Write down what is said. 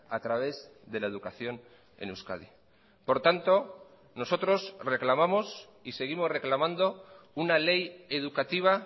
a través de la educación en euskadi por tanto nosotros reclamamos y seguimos reclamando una ley educativa